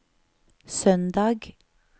søndag